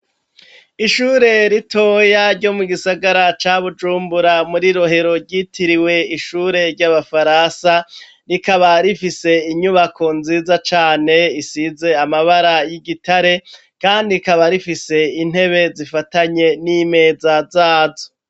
Ishure ritoya ryo mugisagara ca Bujumbura muri Rohero ryitiriwe ishure ry'abafaransa, rikaba rifise inyubako nziza cane isize amabara y'igitare kandi rikaba rifise intebe zifatanye n'imeza zazo.